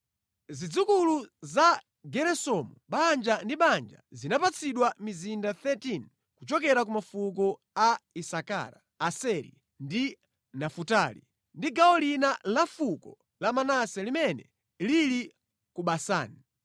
Zidzukulu za Geresomu banja ndi banja zinapatsidwa mizinda 13 kuchokera ku mafuko a Isakara, Aseri ndi Nafutali, ndi gawo lina la fuko la Manase limene lili ku Basani.